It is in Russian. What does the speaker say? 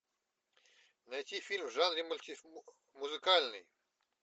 найти фильм в жанре музыкальный